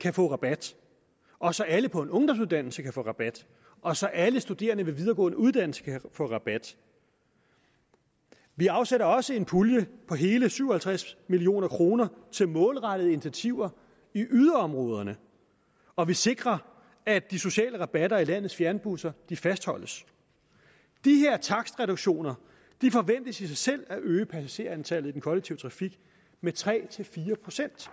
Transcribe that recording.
kan få rabat og så alle på en ungdomsuddannelse kan få rabat og så alle studerende ved videregående uddannelser kan få rabat vi afsætter også en pulje på hele syv og halvtreds million kroner til målrettede initiativer i yderområderne og vi sikrer at de sociale rabatter i landets fjernbusser fastholdes de her takstreduktioner forventes i sig selv at øge passagerantallet i den kollektive trafik med tre fire procent